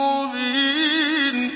مُّبِينٌ